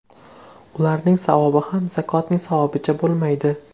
Ularning savobi ham zakotning savobicha bo‘lmaydi.